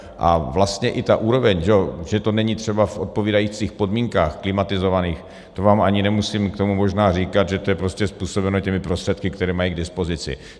A vlastně i ta úroveň, že to není třeba v odpovídajících podmínkách klimatizovaných, to vám ani nemusím k tomu možná říkat, že to je prostě způsobeno těmi prostředky, které mají k dispozici.